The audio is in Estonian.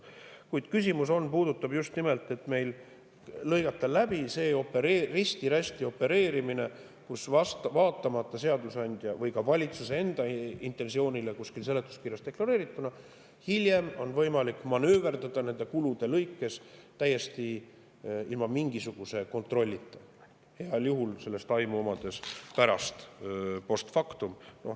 Kuid küsimus puudutab just nimelt seda, et lõigata läbi see risti-rästi opereerimine, kui vaatamata seadusandja või ka valitsuse enda intensioonile, kuskil seletuskirjas deklareerituna, on hiljem võimalik manööverdada nende kulude lõikes täiesti ilma igasuguse kontrollita, heal juhul sellest aimu omades pärast, post factum.